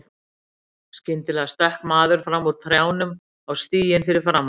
Skyndilega stökk maður fram úr trjánum á stíginn fyrir framan þá.